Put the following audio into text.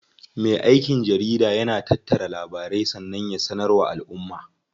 Me aikin jarida yana tattara labarai sannan ya sanar wa alʼumma.